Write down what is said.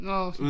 Nåh